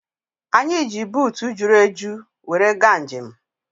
Anyị ji buutu juru eju were gaa njem